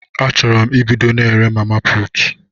Achuru 'm ebudo na ere mama putu